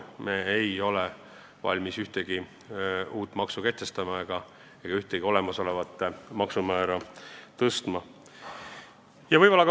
Me ei ole valmis ühtegi uut maksu kehtestama ega ühtegi olemasolevat maksumäära tõstma.